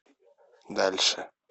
дальше